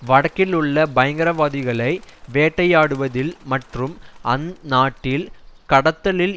வடக்கிலுள்ள பயங்கரவாதிகளை வேட்டையாடுவதில் மற்றும் அந்நாட்டில் கடத்தலில்